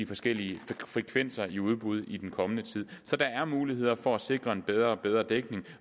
forskellige frekvenser i udbud i den kommende tid så der er muligheder for at sikre en bedre og bedre dækning